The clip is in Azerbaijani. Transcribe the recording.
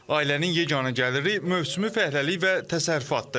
Ailənin yeganə gəliri mövsümü fəhləlik və təsərrüfatdır.